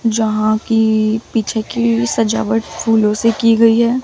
जहां की पीछे की सजावट फूलों से की गई है।